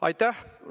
Aitäh!